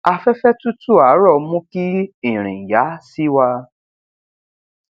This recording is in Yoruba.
afẹfẹ tútù ààrọ mú kí ìrìn yá sí wa